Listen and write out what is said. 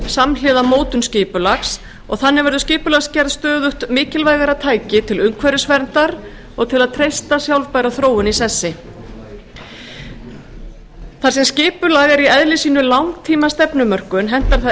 samhliða mótun skipulags og þannig verður skipulagsgerð stöðugt mikilvægara tæki til umhverfisverndar og til að treysta sjálfbæra þróun í sessi þar sem skipulag er í eðli sínu langtímastefnumörkun hentar það